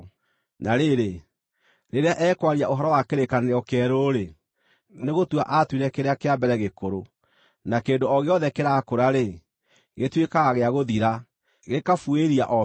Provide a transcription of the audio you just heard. Na rĩrĩ, rĩrĩa ekwaria ũhoro wa kĩrĩkanĩro kĩerũ-rĩ, nĩgũtua aatuire kĩrĩa kĩa mbere gĩkũrũ; na kĩndũ o gĩothe kĩrakũra-rĩ, gĩtuĩkaga gĩa gũthira, gĩkabuĩria o biũ.